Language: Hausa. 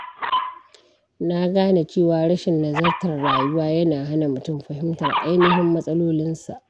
Na gane cewa rashin nazartar rayuwa yana hana mutum fahimtar ainihin matsalolinsa.